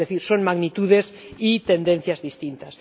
Es decir, son magnitudes y tendencias distintas.